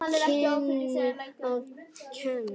Hann kunni að kveðja.